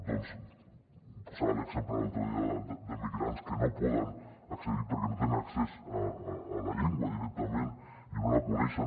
doncs posava l’exemple l’altre dia d’emigrants que no hi poden accedir perquè no tenen accés a la llengua directament i no la coneixen